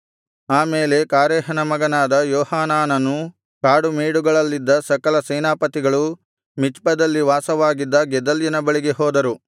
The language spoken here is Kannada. ಆಮೇಲೆ ಕಾರೇಹನ ಮಗನಾದ ಯೋಹಾನಾನನೂ ಕಾಡುಮೇಡುಗಳಲ್ಲಿದ್ದ ಸಕಲ ಸೇನಾಪತಿಗಳೂ ಮಿಚ್ಪದಲ್ಲಿ ವಾಸವಾಗಿದ್ದ ಗೆದಲ್ಯನ ಬಳಿಗೆ ಹೋದರು